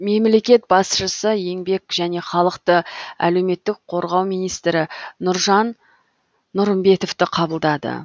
мемлекет басшысы еңбек және халықты әлеуметтік қорғау министрі нұржан нұрымбетовті қабылдады